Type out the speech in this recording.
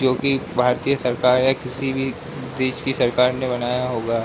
जोकि भारतीय सरकार या किसी भी देश की सरकार ने बनाया होगा।